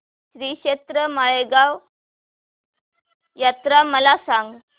श्रीक्षेत्र माळेगाव यात्रा मला सांग